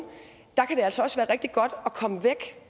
kan det altså også være rigtig godt at komme væk